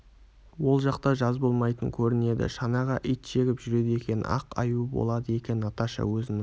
ол жақта жаз болмайтын көрінеді шанаға ит жегіп жүреді екен ақ аюы болады екен наташа өзінің